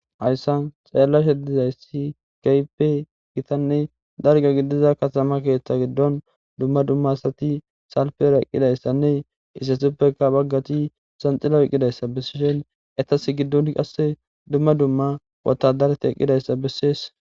hayssan xaellashe dizayssi kaype gitanne dalga gidiza katama keeththa giddon dumma dumma asati salpera eqqidayssanne isesuppeka baggati sanxilo eqqidayssa bessishen etas giddon qasse dumma dumma wotadareti eqqidayssa bessees